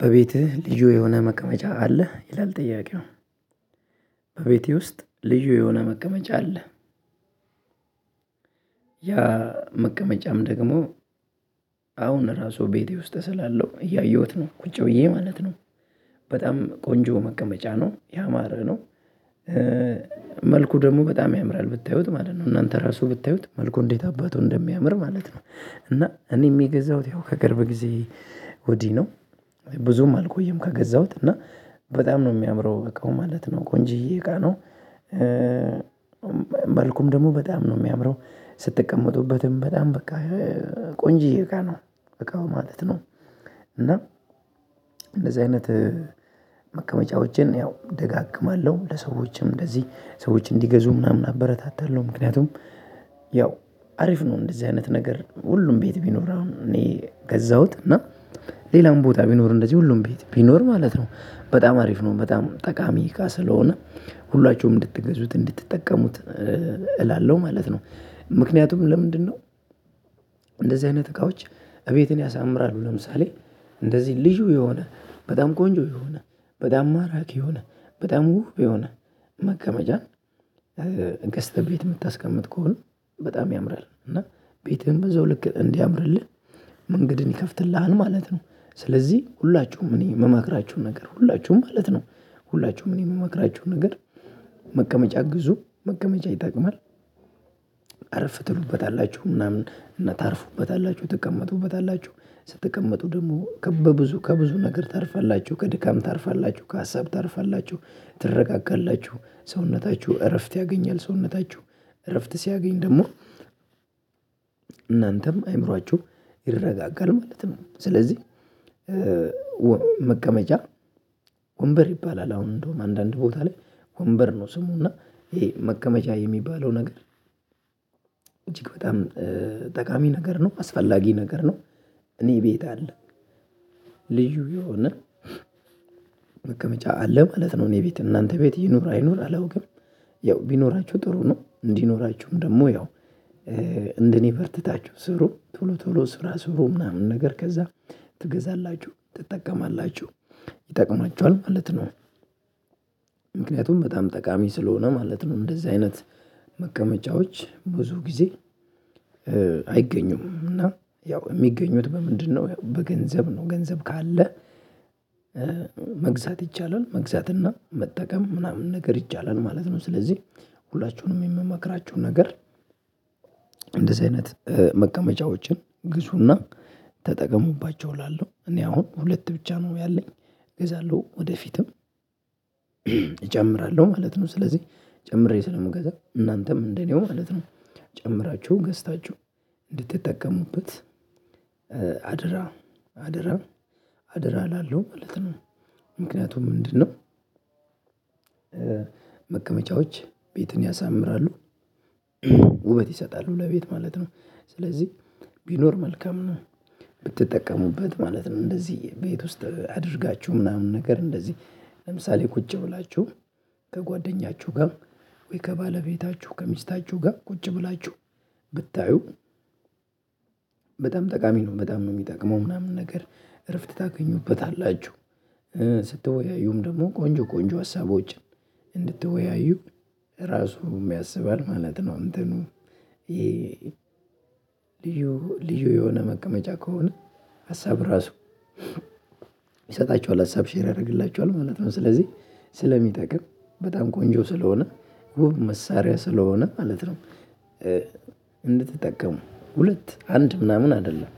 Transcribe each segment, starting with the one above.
በቤትህ ልዩ የሆነ መቀመጫ አለህ ይላል ጥያቄው? በቤቴ ውስጥ ልዩ የሆነ መቀመጫ አለ። ያ መቀመጫም ደግሞ አሁን ራሱ ቤቴ ውስጥ ስላለው እያየሁት ነው ቁጭ ብዬ ማለት ነው። በጣም ቆንጆ መቀመጫ ነው ያማረ ነው። መልኩ ደግሞ በጣም ያምራል ብታዩት ማለት ነው እናንተ ራሱ ብታዩት መልኩ እንዴት አባቱ እንደሚያምር ማለት ነው። እና እኔ የገዛሁት ያው ከቅርብ ጊዜ ወዲህ ነው። ብዙም አልቆየም ከገዛሁት እና በጣም ነው የሚያምረው እቃው ማለት ነው ቆንጆዬ እቃ ነው። መልኩም ደግሞ በጣም ነው የሚያምረው ስትቀመጡበትም በጣም በቃ ቆንጆ እቃ ነው በቃ ማለት ነው። እና እንደዚህ አይነት መቀመጫዎችን ያው እደጋግማለሁ ለሰዎችም እንደዚህ ሰዎች እንዲገዙ ምናምን አበረታታለሁ ምክንያቱም ያው አሪፍ ነው። እንደዚህ አይነት ነገር ሁሉም ቤት ቢኖር አሁን እኔ ገዛሁት እና ሌላም ቦታ ቢኖር እንደዚህ ሁሉም ቤት ቢኖር ማለት ነው በጣም አሪፍ ነው። በጣም ጠቃሚ ስለሆነ ሁላችሁም እንድትገዙት እንድትጠቀሙት እላለሁ ማለት ነው። ምክንያቱም ለምንድነው? እንደዚህ አይነት እቃዎች እቤትን ያሳምራሉ ለምሳሌ እንደዚህ ልዩ የሆነ በጣም ቆንጆ የሆነ በጣም ማራኪ የሆነ በጣም ውብ የሆነ መቀመጫ ገዝተህ ቤት የምታስቀምጥ ከሆነ በጣም ያምራል እና ቤትህን በዛው ልክ እንዲያምርልህ መንገድን ይከፍትልሃል ማለት ነው። ስለዚህ ሁላችሁም እኔ የምመክራችሁን ነገር ሁላችሁም ማለት ነው ሁላችሁም እኔ የምመክራችሁን ነገር መቀመጫ ግዙ መቀመጫ ይጠቅማል። አሪፍ ትሉበታላችሁ ምናምን እና ታርፉበታላችሁ ትቀመጡበታላችሁ ስትቀመጡ ደግሞ ከብዙ ከብዙ ነገር ታርፋላችሁ ከድካም ታርፋላችሁ ከሀሳብ ታርፋላችሁ ትረጋጋላችሁ ሰውነታችሁ እረፍት ያገኛል ሰውነታችሁ እረፍት ሲያገኝ ደግሞ እናንተም አይምሮአችሁ ይረጋጋል ማለት ነው። ስለዚህ መቀመጫ ወንበር ይባላል አሁን እንደውም አንዳንድ ቦታ ላይ ወንበር ነው ስሙና ይሄ መቀመጫ የሚባለው ነገር እጅግ በጣም ጠቃሚ ነገር ነው። አስፈላጊ ነገር ነው። እኔ ቤት አለ። ልዩ የሆነ መቀመጫ አለ ማለት ነው እኔ ቤት እናንተ ቤት ይኑር አይኑር አለው ግን ያው ቢኖራችሁ ጥሩ ነው። እንዲኖራችሁም ደግሞ ያው እንደኔ በርትታችሁ ስሩ ቶሎ ቶሎ ስራ ስሩ ምናምን ነገር ከዛ ትገዛላችሁ ትጠቀማላችሁ ይጠቅማችኋል ማለት ነው። ምክንያቱም በጣም ጠቃሚ ስለሆነ ማለት ነው። እንደዛ አይነት መቀመጫዎች ብዙ ጊዜ አይገኙም። እና ያው የሚገኙት በምንድነው በገንዘብ ነው። ገንዘብ ካለ። መግዛት ይቻላል መግዛት እና መጠቀም ምናምን ነገር ይቻላል ማለት ነው። ስለዚህ ሁላችሁንም የምመክራችሁ ነገር። እንደዚህ አይነት መቀመጫዎችን ግዙና ተጠቀሙባቸው እላለሁ እኔ አሁን ሁለት ብቻ ነው ያለኝ። እገዛለሁ ወደፊትም እጨምራለሁ ማለት ነው። ስለዚህ ጨምሬ ስለምገዛ እናንተም እንደኔው ማለት ነው ጨምራችሁ ገዝታችሁ እንድትጠቀሙበት አደራ አደራ አደራ እላለሁ ማለት ነው። ምክንያቱም ምንድነው? መቀመጫዎች ቤትን ያሳምራሉ ውበት ይሰጣሉ ለቤት ማለት ነው። ስለዚህ ቢኖር መልካም ነው። ብትጠቀሙበት ማለት ነው። እንደዚህ ቤት ውስጥ አድርጋችሁ ምናምን ነገር እንደዚህ ለምሳሌ ቁጭ ብላችሁ ከጓደኛችሁ ጋር ወይ ከባለቤታችሁ ከሚስታችሁ ጋር ቁጭ ብላችሁ ብታዩ በጣም ጠቃሚ ነው። በጣም ነው የሚጠቅመው ምናምን ነገር እረፍት ታገኙበታላችሁ። ስትወያዩም ደግሞ ቆንጆ ቆንጆ ሀሳቦችን እንድትወያዩ ራሱ ያስባል ማለት ነው። እንትኑ ልዩ ልዩ የሆነ መቀመጫ ከሆነ ሀሳብ ራሱ ይሰጣቸዋል ሀሳብ ሼር ያደርግላቸዋል ማለት ነው። ስለዚህ ስለሚጠቅም በጣም ቆንጆ ስለሆነ መሳሪያ ስለሆነ ማለት ነው። እንድትጠቀሙ ሁለት አንድ ምናምን አይደለም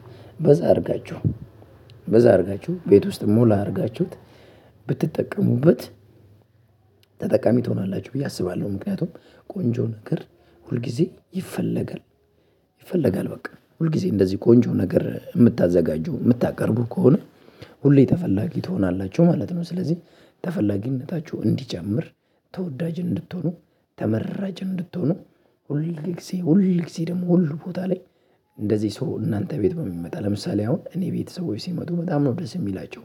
በዛ አድርጋችሁ በዛ አድርጋችሁ ቤት ውስጥ ሞላ አድርጋችሁት ብትጠቀሙበት ተጠቃሚ ትሆናላችሁ ብዬ አስባለሁ። ምክንያቱም ቆንጆ ነገር ሁል ጊዜ ይፈለጋል ቆንጆ ነገር ይፈለጋል በቃ ሁልጊዜ እንደዚህ ቆንጆ ነገር የምታዘጋጁ የምታቀርቡ ከሆነ ሁሌ ተፈላጊ ትሆናላችሁ ማለት ነው። ስለዚህ ተፈላጊነታችሁ እንዲጨምር ተወዳጅ እንድትሆኑ ተመራጭ እንድትሆኑ ሁል ጊዜ ሁል ጊዜ ደግሞ ሁሉ ቦታ ላይ። እንደዚህ ሰው እናንተ ቤት በሚመጣ ለምሳሌ አሁን እኔ ቤተሰቦች ሲመጡ በጣም ነው ደስ የሚላቸው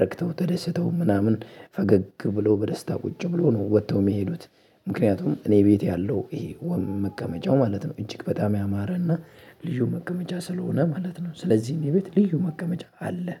ረክተው ተደስተው ምናምን ፈገግ ብሎ በደስታ ቁጭ ብሎ ነው ወጥተው የሚሄዱት። ምክንያቱም እኔ ቤት ያለው ይሄ ዋናው መቀመጫው ማለት ነው እጅግ በጣም ያማረና ልዩ መቀመጫ ስለሆነ ማለት ነው። ስለዚህ እኔ ቤት ልዩ መቀመጫ አለ